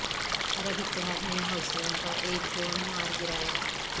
عرب اتحاد نے حوثیوں کا ایک اور ڈرون مار گرایا